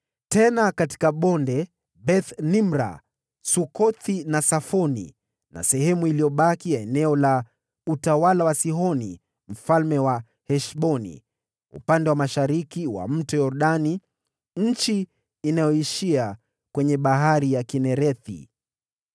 na katika bonde, Beth-Haramu, Beth-Nimra, Sukothi na Safoni na sehemu iliyobaki ya eneo la utawala wa Sihoni mfalme wa Heshboni (upande wa mashariki mwa Mto Yordani, eneo inayoishia kwenye Bahari ya Kinerethi ).